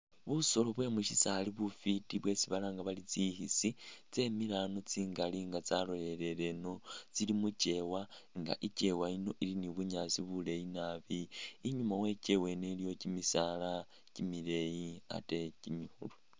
Busolo bwemusisaali bufwiti bwesi balanga bari tsikhisi tsemile a'ano tsingali nga tsalolele eno tsili mukewa nga e'kewa yino ili ni bunyaasi buleyi naabi, inyuma wekewa eno iliyo kimisaala kimileyi ate kimikhulu